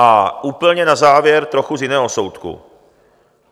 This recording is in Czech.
A úplně na závěr trochu z jiného soudku.